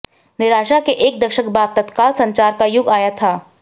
निराशा के एक दशक बाद तत्काल संचार का युग आया था